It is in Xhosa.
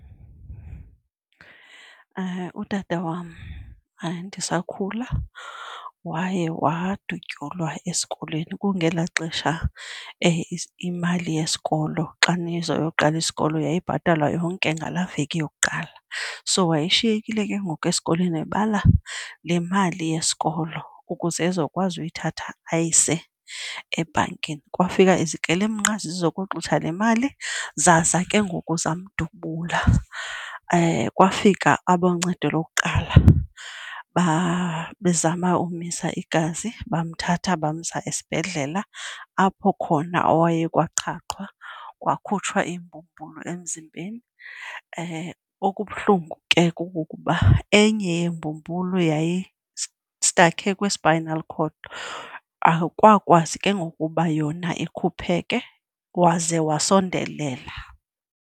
Utata wam ndisakhula waye wadutyulwa esikolweni, kungelaa xesha imali yesikolo xa nizoqala isikolo yayibhatalwa yonke ngalaa veki yokuqala. So wayishiyekile ke ngoku esikolweni ebala le mali yesikolo ukuze ezokwazi uyithatha ayise ebhankini, kwafika izikrelemnqa zizokoxutha le mali zaza ke ngoku zamdubula. Kwafika aboncedo lokuqala bezama ukumisa igazi bamthatha bamsa esibhedlela apho khona kwaye kwaqhaqhwa kwakhutshwa imbumbulu emzimbeni. Okubuhlungu ke kukuba enye yeembumbulu yayistakhe kwi-spinal cord akakwazi ke ngoku uba yona ikhupheke waze wasondelela.